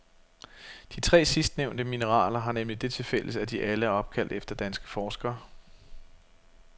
De tre sidstnævnte mineraler har nemlig det tilfælles, at de alle er opkaldt efter danske forskere.